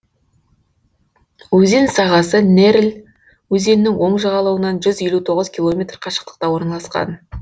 өзен сағасы нерль өзенінің оң жағалауынан жүз елу тоғыз километр қашықтықта орналасқан